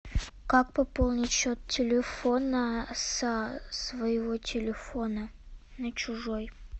как пополнить счет телефона со своего телефона на чужой